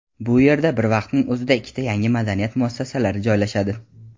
bu yerda bir vaqtning o‘zida ikkita yangi madaniyat muassasalari joylashadi.